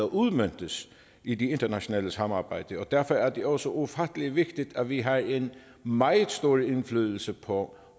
udmøntet i det internationale samarbejde derfor er det også ufattelig vigtigt at vi har en meget stor indflydelse på